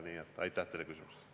Kristina Šmigun-Vähi, palun!